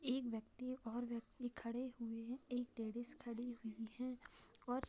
एक व्यक्ति और व्यक्ति खड़े हुए हैं एक लेडिज खड़ी हुई है। और--